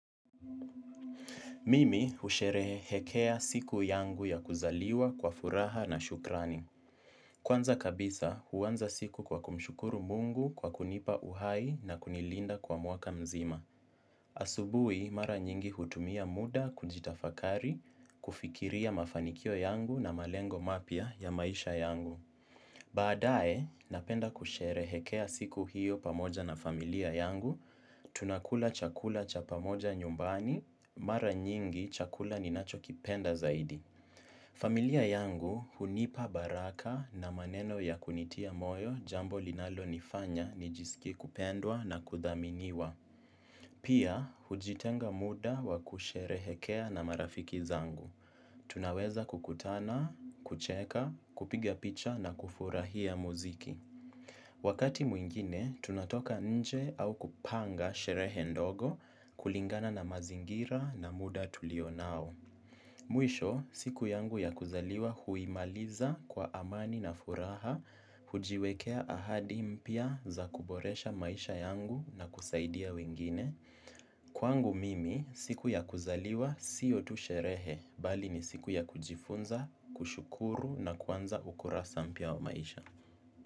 Mimi husherehekea siku yangu ya kuzaliwa kwa furaha na shukrani. Kwanza kabisa, huwanza siku kwa kumshukuru mungu kwa kunipa uhai na kunilinda kwa mwaka mzima. Asubui, mara nyingi hutumia muda kujitafakari, kufikiria mafanikio yangu na malengo mapya ya maisha yangu. Baadae, napenda kusherehekea siku hiyo pamoja na familia yangu. Tunakula chakula cha pamoja nyumbani, mara nyingi chakula ninachokipenda zaidi. Familia yangu hunipa baraka na maneno ya kunitia moyo jambo linalonifanya nijisikie kupendwa na kuthaminiwa. Pia, hujitenga muda wa kusherehekea na marafiki zangu. Tunaweza kukutana, kucheka, kupiga picha na kufurahia muziki. Wakati mwingine, tunatoka nje au kupanga sherehe ndogo kulingana na mazingira na muda tulio nao. Mwisho, siku yangu ya kuzaliwa huimaliza kwa amani na furaha, hujiwekea ahadi mpya za kuboresha maisha yangu na kusaidia wengine. Kwangu mimi, siku ya kuzaliwa sio tu sherehe, bali ni siku ya kujifunza, kushukuru na kuanza ukurasa mpya wa maisha.